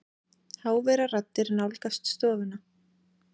Háværar raddir nálgast stofuna.